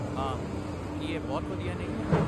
ਹਾਂ! ਕੀ ਇਹ ਬਹੁਤ ਵਧੀਆ ਨਹੀਂ ਹੈ?